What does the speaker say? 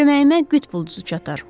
Köməyimə qütb ulduzu çatar.